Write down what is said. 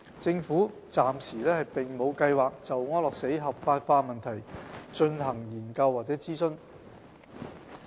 政府暫時並沒有計劃就安樂死合法化問題進行研究或諮詢。